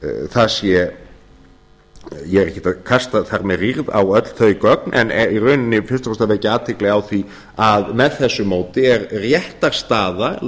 það sé ég er ekkert að kasta þar með rýrð á öll þau gögn en er í rauninni fyrst og fremst að vekja athygli á því að með þessu móti er réttarstaða